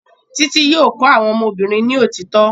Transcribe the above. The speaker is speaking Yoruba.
Títí yóò kọ́ àwọn ọmọ obìnrin ni òtítọ́